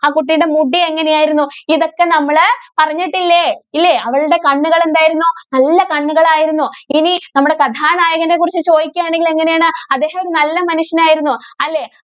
ആ കുട്ടിയുടെ മുടി എങ്ങനെ ആയിരുന്നു? ഇതൊക്കെ നമ്മള് പറഞ്ഞിട്ടില്ലേ? ഇല്ലേ? അവളുടെ കണ്ണുകള് എന്തായിരുന്നു? നല്ല കണ്ണുകളായിരുന്നു. ഇനി നമ്മുടെ കഥാനായകനെ കുറിച്ച് ചോദിക്കുകയാണെങ്കില്‍ എങ്ങനെയാണ്? അദ്ദേഹം നല്ല മനുഷ്യനായിരുന്നു. അല്ലേ?